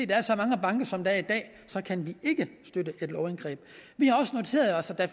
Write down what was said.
der er så mange banker som der er i dag kan vi ikke støtte et lovindgreb vi har også noteret os at der